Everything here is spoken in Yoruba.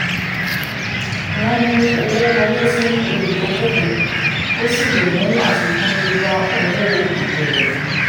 wọ́n mú owó wọlé fún olùdókòwò; ó um sì lè mú àfikún dé bá owó ìbẹ̀rẹ̀.